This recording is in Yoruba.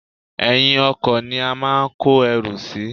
Èyin ọkò ni a máa ń kó erù sí